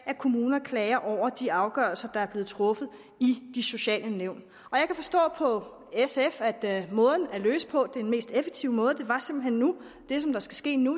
at kommuner klager over de afgørelser der er blevet truffet i de sociale nævn og jeg kan forstå på sf at måden at løse det på den mest effektive måde det som skal ske nu